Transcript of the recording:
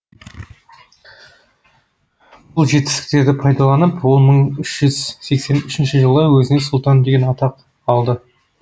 бұл жетістіктерді пайдаланып ол мың үш жүз сексен үшінші жылы өзіне сұлтан деген атақ алды